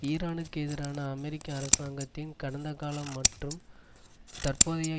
ஈரானுக்கு எதிரான அமெரிக்க அரசாங்கத்தின் கடந்த கால மற்றும் தற்போதைய